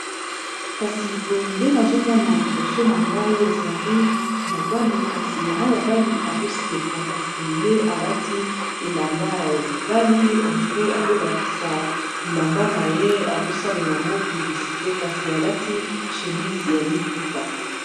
Kasi boye nde nazomona liboso na ngai ezali mobali kasi yango mobali azoseka kasi ye alati elamba ya bamibali hendire azolakisa bilamba na ye azosalela yango piblisite kasi alati chémise ya liputa.